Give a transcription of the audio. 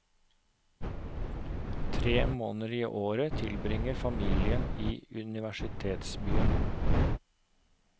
Tre måneder i året tilbringer familien i universitetsbyen.